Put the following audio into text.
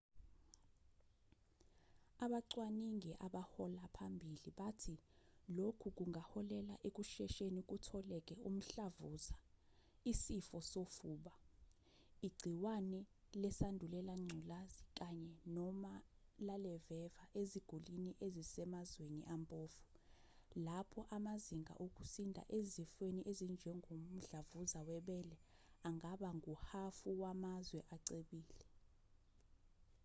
abacwaningi abahola phambili bathi lokhu kungaholela ekushesheni kutholeke umhlavuza isifo sofuba igciwane lesandulela ngculazi kanye nomalaleveva eziguliniezisemazweni ampofu lapho amazinga okusinda ezifweni ezinjengomdlavuza webele angaba nguhhafuwamazwe acebile